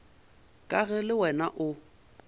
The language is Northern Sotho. ka ge le wena o